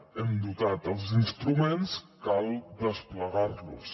hem dotat els instruments cal desplegar los